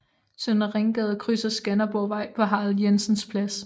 Søndre Ringgade krydser Skanderborgvej på Harald Jensens Plads